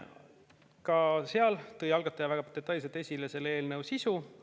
Ka komisjonis tõi algataja väga detailselt esile selle eelnõu sisu.